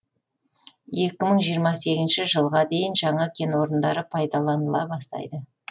екі мың жиырма сегізінші жылға дейін жаңа кен орындары пайдаланыла бастайды